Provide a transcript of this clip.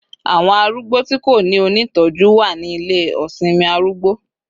Awon arugbo ti ko ni onitoju wa ni Ile osinmi arugbo